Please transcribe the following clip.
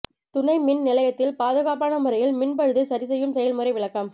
துணை மின் நிலையத்தில் பாதுகாப்பான முறையில் மின் பழுதை சரிசெய்யும் செயல்முறை விளக்கம்